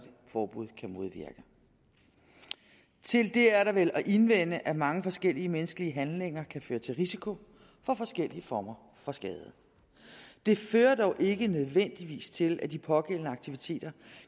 forbud modvirke til det er der vel at indvende at mange forskellige menneskelige handlinger kan føre til risiko for forskellige former for skade det fører dog ikke nødvendigvis til at de pågældende aktiviteter